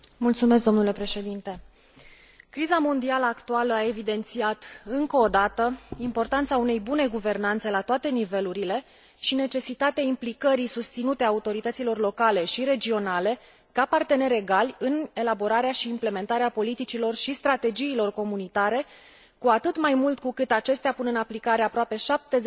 Criza mondială actuală a evidențiat încă o dată importanța unei bune guvernanțe la toate nivelurile și necesitatea implicării susținute a autorităților locale și regionale, ca parteneri egali, în elaborarea și implementarea politicilor și strategiilor comunitare, cu atât mai mult cu cât acestea pun în aplicare aproape 70 din legislația comunitară.